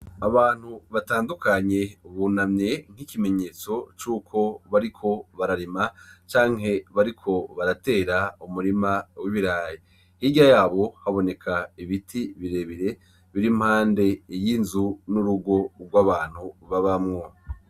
Abantu batandukanye bunamwe nk'ikimenyetso c'uko bariko bararima, canke bariko baratera umurima w'ibirayi. Hirya yabo haboneka ibiti birebire biri impande y'inzu n'urugo rw'abantu babamwo.